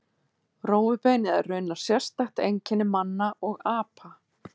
Rófubeinið er raunar sérstakt einkenni manna og apa.